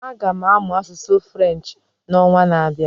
Aga m amụ asụsụ French na onwa na abịa